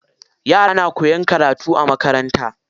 Yara na koyan karatu a makaranta.